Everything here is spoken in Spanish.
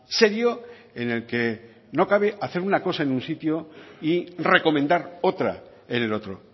serio en el que no cabe hacer una cosa en un sitio y recomendar otra en el otro